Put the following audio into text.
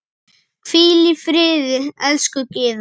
Hvíl í friði, elsku Gyða.